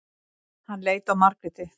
Hann leit á Margréti.